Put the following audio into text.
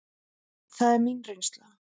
Það er mín reynsla.